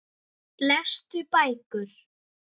Lestu bækur.